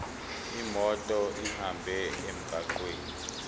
imoto ihambe emgwaqweni